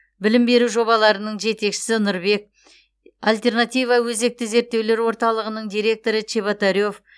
білім беру жобаларының жетекшісі нұрбек альтернатива өзекті зерттеулер орталығының директоры чеботарев